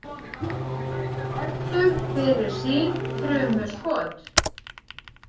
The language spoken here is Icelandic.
Þekktur fyrir sín þrumu skot.